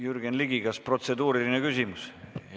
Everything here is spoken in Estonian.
Jürgen Ligi, kas protseduuriline küsimus?